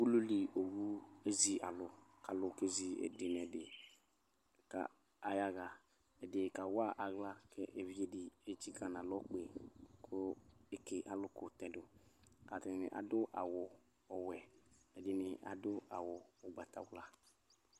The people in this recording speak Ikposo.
Ulu li owu ezi alʋ kʋ alʋ kezi ɛdɩ nʋ ɛdɩ kʋ ayaɣa Ɛdɩ kawa aɣla kʋ evidze dɩ etsikǝ nʋ alɔ kpe yɩ kʋ eke alʋkʋ tɛ dʋ kʋ atanɩ adʋ awʋ ɔwɛ, ɛdɩnɩ adʋ awʋ ʋgbatawla